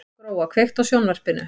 Gróa, kveiktu á sjónvarpinu.